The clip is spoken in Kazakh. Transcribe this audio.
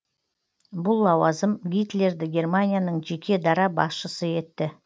бұл лауазым гитлерді германияның жеке дара басшысы етті